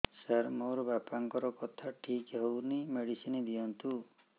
ସାର ମୋର ବାପାଙ୍କର କଥା ଠିକ ହଉନି ମେଡିସିନ ଦିଅନ୍ତୁ